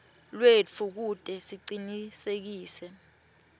lwetfu kute sicinisekise